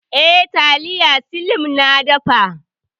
Eh, taliya slim na dafa.